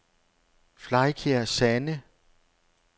Flegkær Sande